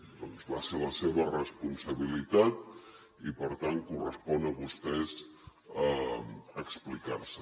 doncs va ser la seva responsabilitat i per tant els correspon a vostès explicar se